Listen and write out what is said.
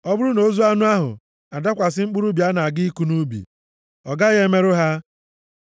Ọ bụrụ na ozu anụ ahụ adakwasị mkpụrụ ubi a na-aga ịkụ nʼubi, ọ gaghị emerụ ha.